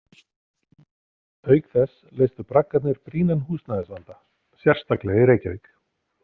Auk þess leystu braggarnir brýnan húsnæðisvanda, sérstaklega í Reykjavík.